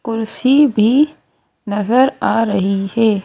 कुर्सी भी नजर आ रही है।